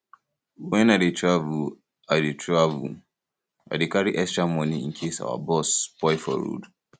wen i dey travel i dey travel i dey carry extra moni incase our bus spoil for road